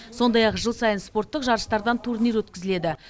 сондай ақ жыл сайын спорттық жарыстардан турнир өткізіледі